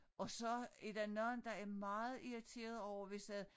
Og så er der nogle der er meget irriteret over hvis at